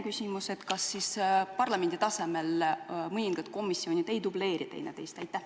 Ja veel: kas parlamendi tasemel mõningad komisjonid ei dubleeri teineteist?